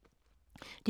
DR2